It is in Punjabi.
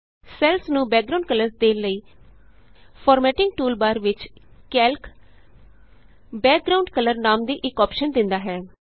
ਸੈੱਲਸ ਨੂੰ ਬੈਕਗਰਾਂਉਡ ਕਲਰਸ ਦੇਣ ਲਈ ਫਾਰਮੈੱਟਿੰਗ ਟੂਲਬਾਰ ਵਿਚ ਕੈਲਕ ਬੈਕਗਰਾਉਂਡ ਕਲਰ ਨਾਮ ਦੀ ਇਕ ਅੋਪਸ਼ਨ ਦਿੰਦਾ ਹੈ